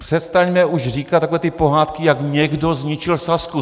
Přestaňme už říkat takové ty pohádky, jak někdo zničil Sazku!